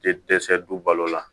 Te dɛsɛ dubalo la